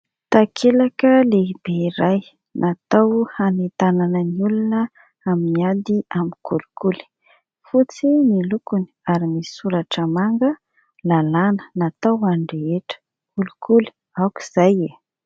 Takelaka lehibe iray natao hanentanana ny olona amin'ny ady amin'ny kolikoly. Fotsy ny lokony ary misy soratra manga : "Lalàna, natao ho an'ny rehetra. Kolikoly, aok'izay e !".